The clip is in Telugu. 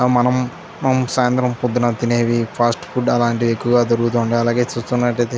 మనము సాయంత్రం పొద్దున తినేవి ఫాస్ట్ ఫుడ్ అలాంటిదే ఎక్కువగా దొరుకుతూ ఉంటాయి. అలాగే చూస్తున్నట్లయితే --